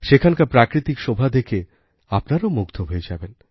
সেখানকার প্রাকৃতিক শোভা দেখে আপনারাও মুগ্ধ হয়ে যাবেন